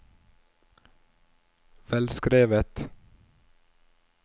velskrevet